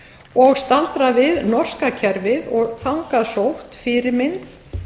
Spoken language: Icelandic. og staldrað við norska kerfið og þangað sótt fyrirmynd